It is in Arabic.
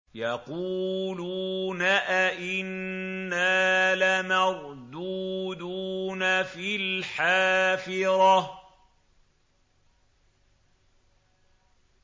يَقُولُونَ أَإِنَّا لَمَرْدُودُونَ فِي الْحَافِرَةِ